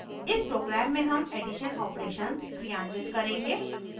इस program में हम एडिशन operations क्रियान्वित करेंगे